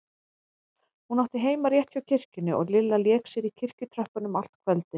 Hún átti heima rétt hjá kirkjunni og Lilla lék sér í kirkjutröppunum allt kvöldið.